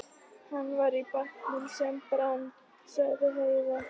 Hann var í bátnum sem brann, sagði Heiða.